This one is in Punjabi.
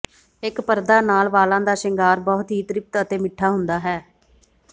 ਇੱਕ ਪਰਦਾ ਨਾਲ ਵਾਲਾਂ ਦਾ ਸ਼ਿੰਗਾਰ ਬਹੁਤ ਹੀ ਤ੍ਰਿਪਤ ਅਤੇ ਮਿੱਠਾ ਹੁੰਦਾ ਹੈ